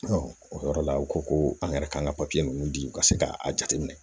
o yɔrɔ la u ko ko an yɛrɛ kan ka papiye ninnu di ka se k'a jateminɛ